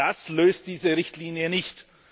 Das löst diese Richtlinie nicht.